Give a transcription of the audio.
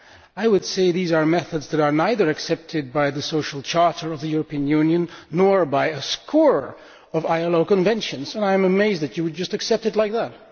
I would say these are methods that are neither accepted by the Social Charter of the European Union, nor by a score of ILO Conventions, and I am amazed that you would just accept them like that.